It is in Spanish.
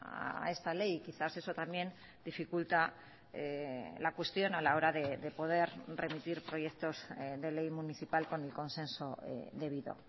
a esta ley quizás eso también dificulta la cuestión a la hora de poder remitir proyectos de ley municipal con el consenso debido